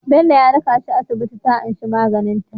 Bello ya raka aisha asibiti ta anshi maganin ta